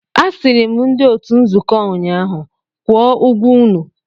Asịrị m ndị otu nzuko ụnyaahụ, kwụọ ụgwọ unu!